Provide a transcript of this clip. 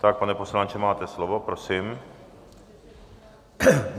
Tak pane poslanče, máte slovo, prosím.